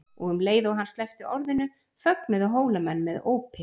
Og um leið og hann sleppti orðinu fögnuðu Hólamenn með ópi.